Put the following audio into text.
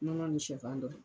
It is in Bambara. Nɔnɔ ni sɛfan dɔrɔn.